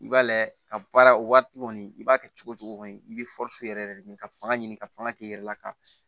I b'a layɛ ka baara o waati kɔni i b'a kɛ cogo o cogo i bɛ yɛrɛ de ɲini ka fanga ɲini ka fanga k'i yɛrɛ la ka